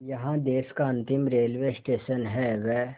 यहाँ देश का अंतिम रेलवे स्टेशन व